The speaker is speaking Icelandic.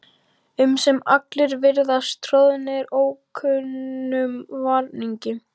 um sem allir virðast troðnir ókunnum varningi.